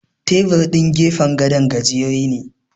Tebur ɗin gefen gado gajere ne.